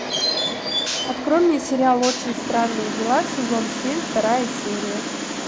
открой мне сериал очень странные дела сезон семь вторая серия